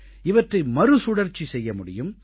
இவற்றை மறுசுழற்சி செய்ய முடியும்